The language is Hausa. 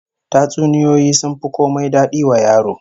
Tatsuniyoyi sun fi komai dadi wa yaro